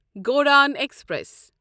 Godan express